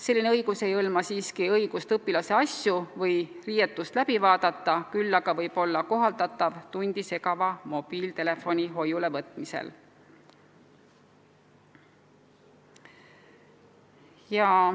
Selline õigus ei hõlma siiski õigust õpilase asju või riietust läbi vaadata, küll aga võib seda vaja minna tundi segava mobiiltelefoni hoiulevõtmisel.